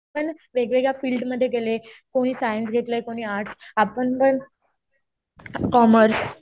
पण वेगवेगळ्या फिल्डमध्ये गेले. कुणी सायन्स घेतलंय, कुणी आर्टस्. आपण पण कॉमर्स.